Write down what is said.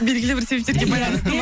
белгілі бір себептерге байланысты ма